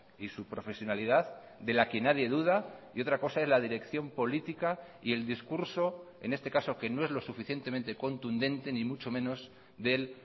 y su profesionalidad de la que nadie duda y otra cosa es la dirección política y el discurso en este caso que no es lo suficientemente contundente ni mucho menos del